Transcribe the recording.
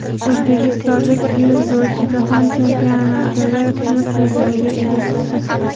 O‘zbekistonlik dzyudochi Jahon chempionatida kumush medalga ega chiqdi.